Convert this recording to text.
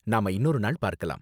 நாம இன்னொரு நாள் பார்க்கலாம்.